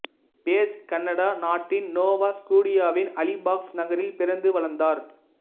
page Canada நாட்டின் Nova ஸ்கோடியாவின் Halifax நகரில் பிறந்து வளர்ந்தார்